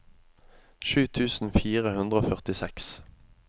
sju tusen fire hundre og førtiseks